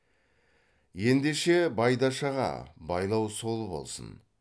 ендеше байдаш аға байлау сол болсын